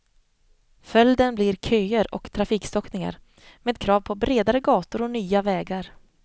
Följden blir köer och trafikstockningar, med krav på bredare gator och nya vägar.